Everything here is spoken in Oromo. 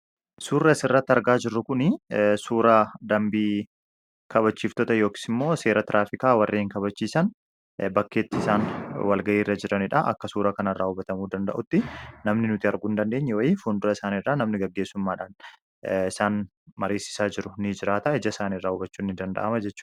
suurra asirratti argaa jirru kun suura dambii kabachiiftoota yooksi immoo seera tiraafikaa warree hin kabachiisan bakkeetti isaan walgayii irra jiraniidha akka suura kan irraa ubatamuu danda'utti namni nuti arguu in dandeenye wayi fundura isaanirraa namni gaggeessummaadhaan isaan mariisisaa jiru ni jiraataa ija isaanirraa ubachuu ni danda'ama jechuudha